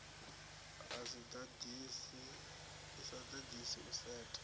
i sa ḓaḓisi u setha